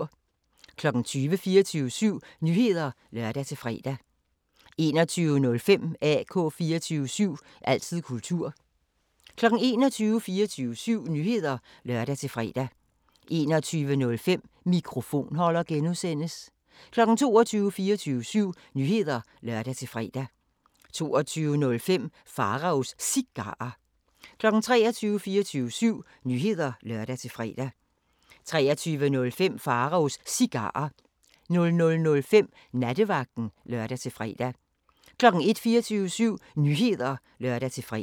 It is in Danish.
20:00: 24syv Nyheder (lør-fre) 20:05: AK 24syv – altid kultur 21:00: 24syv Nyheder (lør-fre) 21:05: Mikrofonholder (G) 22:00: 24syv Nyheder (lør-fre) 22:05: Pharaos Cigarer 23:00: 24syv Nyheder (lør-fre) 23:05: Pharaos Cigarer 00:05: Nattevagten (lør-fre) 01:00: 24syv Nyheder (lør-fre)